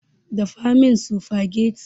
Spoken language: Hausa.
Dafa min sufagetti